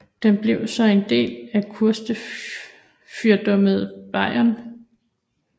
Den blev så en del af kurfyrstedømmet Bayern